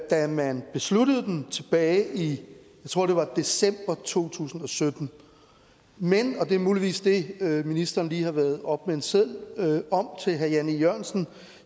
da man besluttede den tilbage i jeg tror det var december to tusind og sytten men og det er muligvis det ministeren lige har været oppe med en seddel om til herre jan e jørgensen